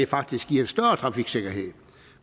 faktisk giver større trafiksikkerhed